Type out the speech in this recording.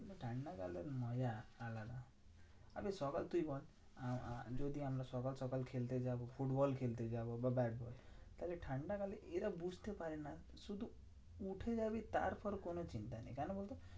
ঠান্ডাকালে মজা আলাদা। সকাল তুই বল আহ আহ যদি আমরা সকাল সকাল খেলতে যাবো ফুটবল খেলতে যাবো বা ব্যাটবল। তাহলে ঠান্ডাকালে এরা বুঝতে পারে না, শুধু উঠে যাবি তারপর কোনো চিন্তা নেই কেন বলতো?